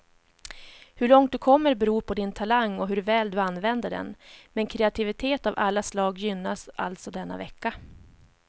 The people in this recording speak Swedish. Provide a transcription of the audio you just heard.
Hur långt du kommer beror på din talang och hur väl du använder den, men kreativitet av alla slag gynnas alltså denna vecka.